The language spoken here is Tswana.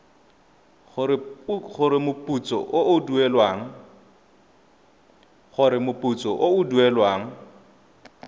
gore moputso o o duelwang